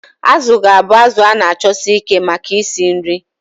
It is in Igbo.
Azu ga-abụ azụ a na-achọsi ike maka isi nri.